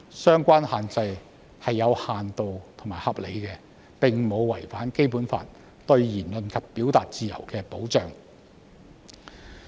相關限制是有限度和合理的，並無違反《基本法》對言論及表達自由的保障。